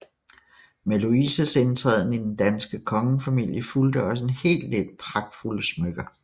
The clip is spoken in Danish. Med Louises indtræden i den danske kongefamilie fulgte også en hel del pragtfulde smykker